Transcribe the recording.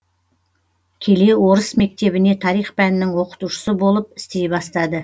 келе орыс мектебіне тарих пәнінің оқытушысы болып істей бастады